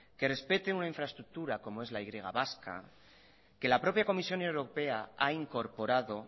que respeten una infraestructura como es la y vasca que la propia comisión europea ha incorporado